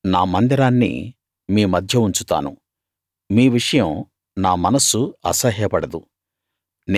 నా మందిరాన్ని మీ మధ్య ఉంచుతాను మీ విషయం నా మనస్సు అసహ్యపడదు